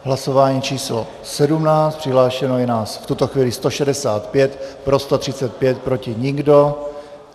Hlasování číslo 17, přihlášeno je nás v tuto chvíli 165, pro 135, proti nikdo.